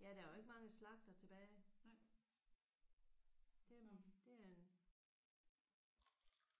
Ja der er jo ikke mange slagtere tilbage. Det er jo det er en